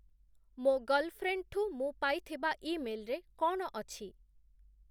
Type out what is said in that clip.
ମୋ ଗର୍ଲଫ୍ରେଣ୍ଡଠୁ ମୁଁ ପାଇଥିବା ଇମେଲ୍‌ରେ କ’ଣ ଅଛି?